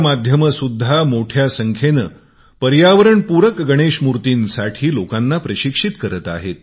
माध्यम गृहे सुद्धा मोठ्या संखेत इको फ्रेंडली गणेशमूर्तींसाठी लोकांना प्रशिक्षित करत आहेत